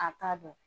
A t'a dɔn